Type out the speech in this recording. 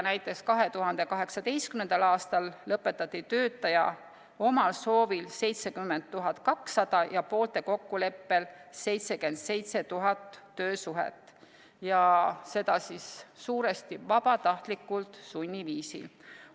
Näiteks 2018. aastal lõpetati töötaja omal soovil 70 200 ja poolte kokkuleppel 77 000 töösuhet, ja seda suuresti vabatahtlikult sunniviisil.